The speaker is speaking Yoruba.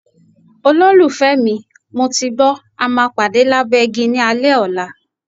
Olólùfẹ́ mi, mo ti gbọ́, a máa pàdé lábẹ́ igi ní alẹ́ ọ̀la.